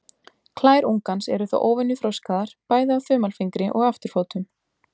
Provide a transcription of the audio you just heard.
Klær ungans eru þó óvenju þroskaðar, bæði á þumalfingri og afturfótum.